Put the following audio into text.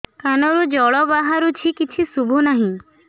କାନରୁ ଜଳ ବାହାରୁଛି କିଛି ଶୁଭୁ ନାହିଁ